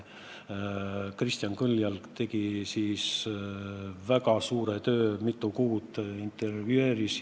Kristjan Kõljalg tegi siis väga suure töö, mitu kuud intervjueeris inimesi.